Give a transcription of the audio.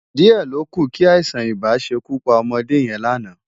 Di è lókú ki áisán-ibá ṣé kú pá òmòdé yèn láná